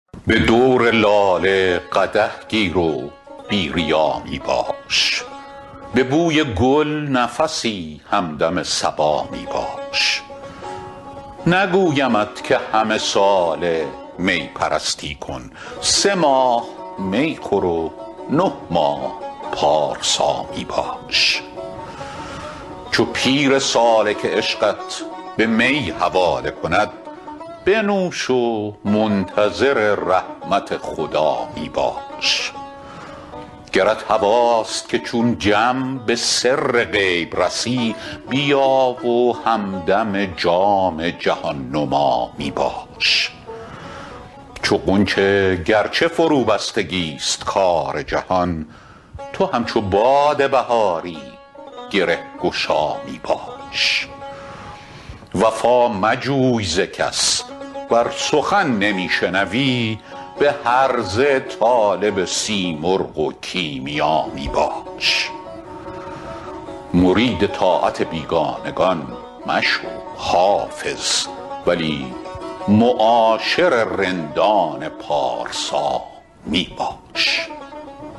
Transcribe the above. به دور لاله قدح گیر و بی ریا می باش به بوی گل نفسی همدم صبا می باش نگویمت که همه ساله می پرستی کن سه ماه می خور و نه ماه پارسا می باش چو پیر سالک عشقت به می حواله کند بنوش و منتظر رحمت خدا می باش گرت هواست که چون جم به سر غیب رسی بیا و همدم جام جهان نما می باش چو غنچه گر چه فروبستگی ست کار جهان تو همچو باد بهاری گره گشا می باش وفا مجوی ز کس ور سخن نمی شنوی به هرزه طالب سیمرغ و کیمیا می باش مرید طاعت بیگانگان مشو حافظ ولی معاشر رندان پارسا می باش